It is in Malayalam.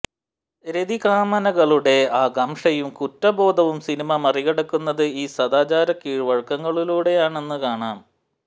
രതികാമനകളുടെ ആകാംക്ഷയും കുറ്റബോധവും സിനിമ മറികടക്കുന്നത് ഈ സദാചാര വഴക്കങ്ങളിലൂടെയാണെന്നു കാണാം